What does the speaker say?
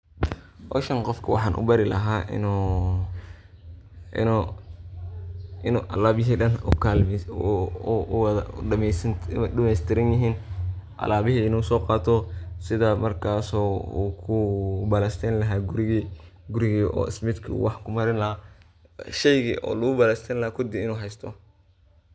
Hoshan qofka waxan ubari lahay inu alabahaa dan ay udameys tiranyihin, alabihi inu soqato sidhaa markas oku balas tayni laha gurigi , gurigi oo ismidka oo wax kumarini laha sheygi oo lagu balas taynilaha kudi inu haysto.